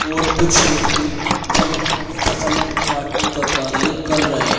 और कुछ व्यक्ति फल क फसल काटने का कार्य कर रहे --